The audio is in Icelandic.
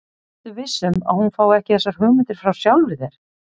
Ertu viss um, að hún fái ekki þessar hugmyndir frá sjálfri þér?